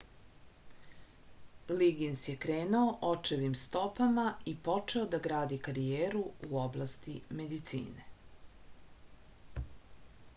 ligins je krenuo očevim stopama i počeo da gradi karijeru u oblasti medicine